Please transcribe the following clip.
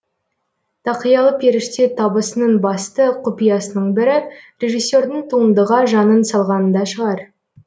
тақиялы періште табысының басты құпиясының бірі режиссердің туындыға жанын салғанында шығар